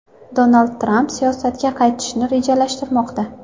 Donald Tramp siyosatga qaytishni rejalashtirmoqda.